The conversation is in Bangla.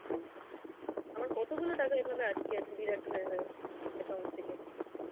আমার কতগুলো টাকা এভাবে আটকে আছে deduct হয়ে হয়ে account থেকে.